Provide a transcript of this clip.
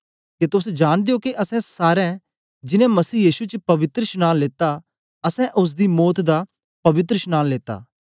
के तोस जांनदे ओ के असैं सारे जिनैं मसीह यीशु च पवित्रशनांन लेता असैं ओसदी मौत दा पवित्रशनांन लेता